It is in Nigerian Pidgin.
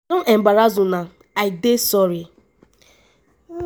i don embarrass una i dey sorry.”